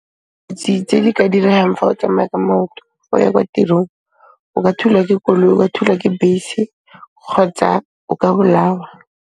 Tse di ka direhang fa o tsamaya ka maoto go ya kwa tirong, o ka thulwa ke koloi, wa thulwa ke bese kgotsa o ka bolawa.